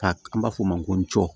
Ka an b'a fɔ o ma ko cɔ